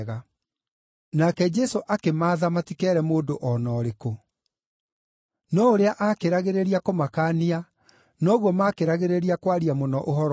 Nake Jesũ akĩmaatha matikeere mũndũ o na ũrĩkũ. No ũrĩa akĩragĩrĩria kũmakaania, noguo makĩragĩrĩria kwaria mũno ũhoro ũcio.